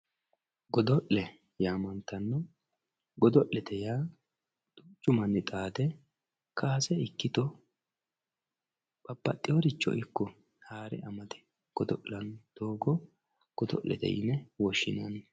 godo'le yaamantanno dodo'lete yaa duuchu manni xaade kaase ikkkito babbaxeeworicho haare amade godo'lanno doogo godo'lete yine woshshinanni